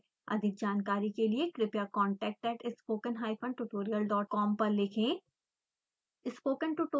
अधिक जानकारी के लिए कृपया contact@spokentutorialcom पर लिखें